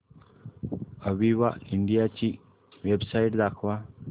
Aviva India ची website दाखवा